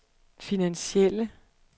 finansielle